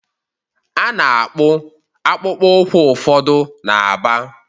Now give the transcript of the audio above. A na-akpụ akpụkpọ ụkwụ ụfọdụ na Aba.